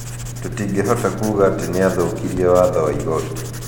Tũtingĩhota kuuga atĩ nĩ aathũkirie watho wa igooti.'